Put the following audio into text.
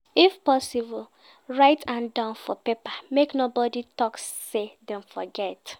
If possible write an down for paper make no body talk say Dem forget